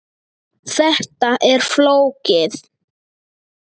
Þetta er flókið.